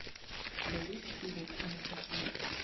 у тебя есть фильмик анастасия